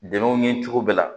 Dɛmɛw ye cogo bɛɛ la